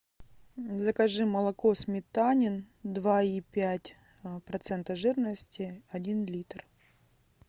закажи молоко сметанин два и пять процента жирности один литр